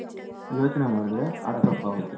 ಯೋಚನೆ ಮಾಡದ್ರೆ ಅದು ತಪ್ ಆಗುತ್ತೆ